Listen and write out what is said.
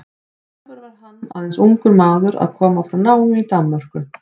Sjálfur var hann aðeins ungur maður að koma frá námi í Danmörku.